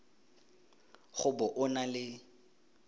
go bo o na le